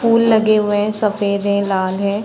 फूल लगे हुए है सफ़ेद हैलाल है।